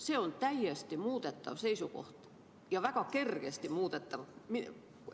See on täiesti muudetav seisukoht, ja väga kergesti muudetav.